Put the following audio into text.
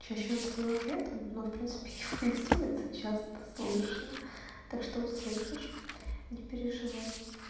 чаще он это делает летом но в принципе его и с улицы часто слышно так что услышишь не переживай